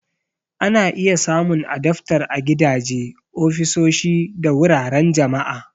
Ana iya samun adaftar a gidaje, ofisoshi, da wuraren jama'a.